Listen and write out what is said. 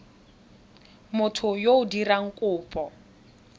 motho yo o dirang kopo